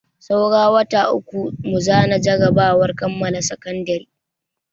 Saura wata uku mu zana jarabawar kammala sakandare.